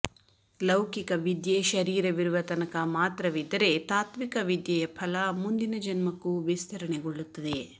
ಲೌಕಿಕ ವಿದ್ಯೆ ಶರೀರವಿರುವ ತನಕ ಮಾತ್ರವಿದ್ದರೆ ತಾತ್ವಿಕ ವಿದ್ಯೆಯ ಫಲ ಮುಂದಿನ ಜನ್ಮಕ್ಕೂ ವಿಸ್ತರಣೆಗೊಳ್ಳುತ್ತದೆ